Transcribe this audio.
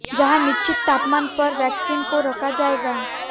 जहां निश्चित तापमान पर वैक्सीन को रखा जाएगा